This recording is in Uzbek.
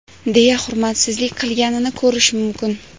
deya hurmatsizlik qilganini ko‘rish mumkin.